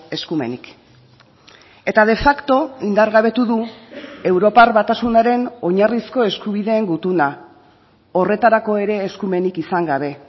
eskumenik eta de facto indargabetu du europar batasunaren oinarrizko eskubideen gutuna horretarako ere eskumenik izan gabe